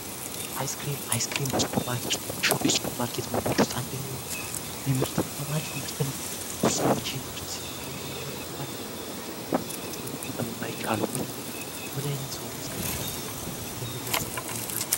ሃይስክሪም በሱፐር ማርኬችን የሚሸጡ የሱፐር ማርኬት ሞቶች ውስጥ አንደኘውኑ ይምህርት በጣም አሪክ ምህርት ነው ስዎጪ ንምህርት ሲጠቀሙት መለከታለት የምህርትንመጠቀም ማይጫሉ ምንኛ ምናዓይነት ሰሆኑ እስከመባል ድረስ የምደርስበት ሁኔታ ለን